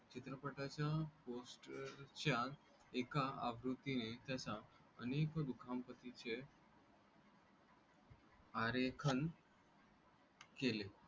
चित्रपटाच्या पोस्टच्या एका आवृत्ती ने त्याच्या अनेक दुःखांपातींचे आरेखन केले.